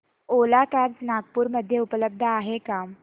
ओला cabs Nagpur मध्ये उपलब्ध आहे का